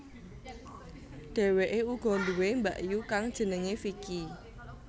Dhèwèkè uga duwè mbakyu kang jenengè Vicky